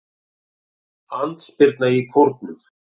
Andspyrna í Kórnum